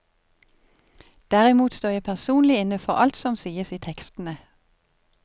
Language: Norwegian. Derimot står jeg personlig inne for alt som sies i tekstene.